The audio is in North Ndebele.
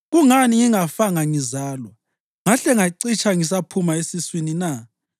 Kungani ngingafanga ngizalwa, ngahle ngacitsha ngisaphuma esiswini na?